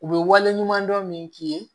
U bɛ wale ɲumandɔn min k'i ye